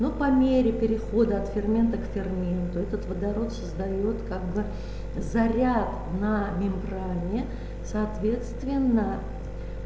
ну по мере перехода от ферментов к ферменту этот водород создаёт как бы заряд на мембране соответственно